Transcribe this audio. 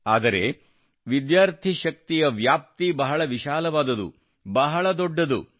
ಆದರೆ ವಿದ್ಯಾರ್ಥಿ ಶಕ್ತಿಯ ವ್ಯಾಪ್ತಿ ಬಹಳ ವಿಶಾಲವಾದುದು ಬಹಳ ದೊಡ್ಡದು